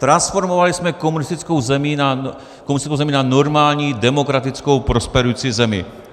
Transformovali jsme komunistickou zemi na normální demokratickou prosperující zemi.